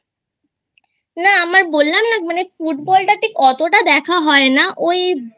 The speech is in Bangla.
না আমার বললাম না মানে Football টা ঠিক অতটা দেখা হয় না ওই